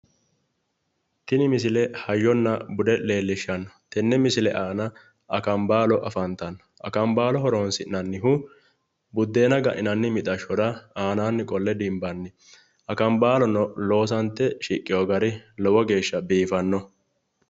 Tini misile hayyona bude leellishshanno tenne misile aana akambaalo afantanno akambaalo horonsi'nannihu buddeena ga'ninanni mixashshora aanaanni qolle dimbanni akambaalono loosante shiqqino gari lowo geeshsha biifannoho.